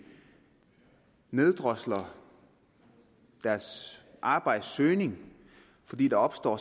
neddrosler deres arbejdssøgning fordi der opstår